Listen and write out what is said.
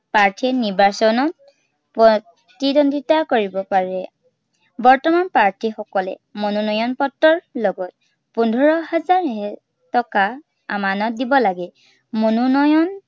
প্ৰাৰ্থীয়ে নিৰ্বাচনত, প্ৰতিদ্বন্দিতা কৰিব পাৰে। বৰ্তমান প্ৰাৰ্থীসকলে মনোনয়ন পত্ৰৰ লগত, পোন্ধৰ হাজাৰ এৰ টকা, আমানত দিব লাগে। মনোনয়ন